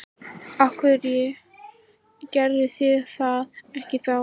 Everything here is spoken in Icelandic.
Af hverju gerðuð þið það ekki þá?